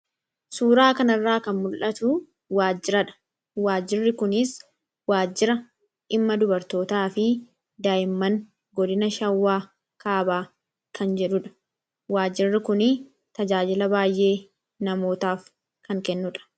Suuraa kana irraa kan mul'atu waajiradha. Waajjirri kunis waajjira dhimma dubartootaa fi daa'imman godina shawwaa kaabaa kan jedhudha. Waajirri kuni tajaajila baay'ee namootaaf kan kennudha.